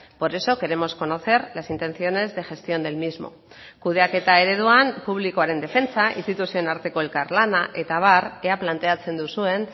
por eso queremos conocer las intenciones de gestión del mismo kudeaketa ereduan publikoaren defentsa instituzioen arteko elkarlana eta abar ea planteatzen duzuen